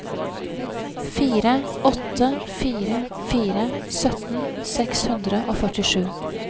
fire åtte fire fire sytten seks hundre og førtisju